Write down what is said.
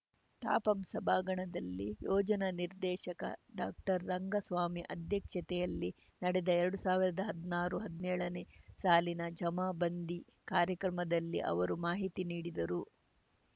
ತಾಪಂ ಸಭಾಂಗಣದಲ್ಲಿ ಯೋಜನಾ ನಿರ್ದೇಶಕ ಡಾಕ್ಟರ್ರಂಗಸ್ವಾಮಿ ಅಧ್ಯಕ್ಷತೆಯಲ್ಲಿ ನಡೆದ ಎರಡ್ ಸಾವಿರ್ದಾ ಹದ್ನಾರುಹದ್ನೇಳನೇ ಸಾಲಿನ ಜಮಾಬಂದಿ ಕಾರ‍್ಯಕ್ರಮದಲ್ಲಿ ಅವರು ಮಾಹಿತಿ ನೀಡಿದರು